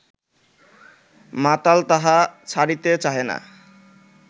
মাতাল তাহা ছাড়িতে চাহে না